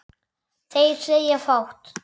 Þeir segja fátt